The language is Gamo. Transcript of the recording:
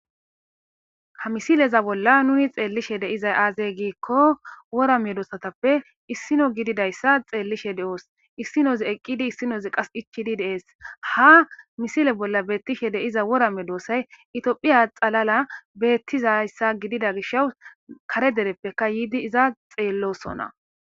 Ha misileza bolla nuni xeellishe deizay aazey giikko worame doossatappe issino gididayssa xeellishe de'oos issinoz eqqidi issinozi qas ichidi deees ha misile bolla beettishe deiza worame doossay itiophiya xalala beettizayssa gidida gisha kare dereppeka yiidi iza xeellosona.